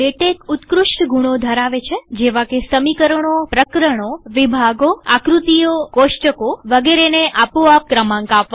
LaTeX ઉત્કૃષ્ટ ગુણો ધરાવે છેજેવાકે સમીકરણોપ્રકરણોવિભાગોઆકૃતિઓકોષ્ટકો વગેરેને આપો આપ ક્રમાંક આપવા